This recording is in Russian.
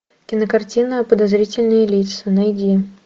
кинокартина подозрительные лица найди